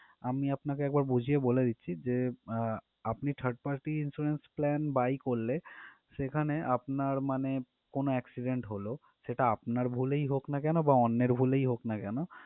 আমি আপনাকে একবার বুঝিয়ে বলে দিচ্ছি যে আহ আপনি third party insurance plan buy করলে সেখানে আপনার মানে কোন accident হল সেটা আপনার ভুলেই হোক না কেন বা অন্যের ভুলেই হোক না কেন